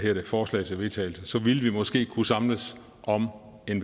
forslag til vedtagelse så ville vi måske kunne samles om en